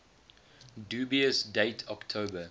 dubious date october